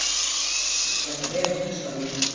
Ekki byrjar það vel, hnussaði hún.